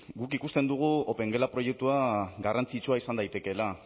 guk ikusten dugu opengela proiektua garrantzitsua izan daitekeela